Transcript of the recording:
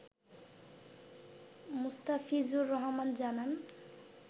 মোস্তাফিজুর রহমান জানান